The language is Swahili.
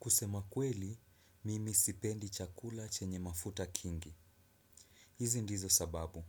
Kusema kweli, mimi sipendi chakula chenye mafuta kingi. Hizi ndizo sababu.